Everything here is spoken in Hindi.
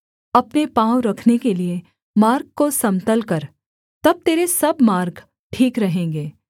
अपने पाँव रखने के लिये मार्ग को समतल कर तब तेरे सब मार्ग ठीक रहेंगे